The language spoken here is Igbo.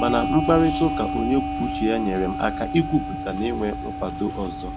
mana mkparịtaụka onye kwuo uche ya, nyere m aka ikwupụta na inwe nkwado ọzọ